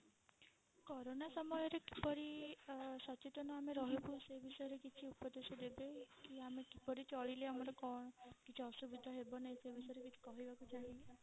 Corona ସମୟରେ କିପରି ସଚେତନ ଆମେ ରହିବୁ ସେ ବିଷୟରେ କିଛି ଉପଦେଶ ଦେବେ କି ଆମେ କିପରି ଚଳିଲେ ଆମର କଣ କିଛି ଅସୁବିଧା ହେବ ନାହିଁ ସେ ବିଷୟରେ କିଛି କହିବାକୁ ଚାହିଁବେ?